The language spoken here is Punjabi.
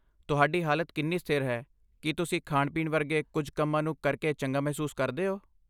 ਤੁਹਾਡੀ ਹਾਲਤ ਕਿੰਨੀ ਸਥਿਰ ਹੈ, ਕੀ ਤੁਸੀਂ ਖਾਣ ਪੀਣ ਵਰਗੇ ਕੁੱਝ ਕੰਮਾਂ ਨੂੰ ਕਰਕੇ ਚੰਗਾ ਮਹਿਸੂਸ ਕਰਦੇ ਹੋ?